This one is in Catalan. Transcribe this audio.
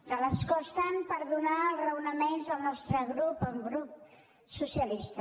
de l’escó estant per donar els raonaments del nostre grup el grup socialista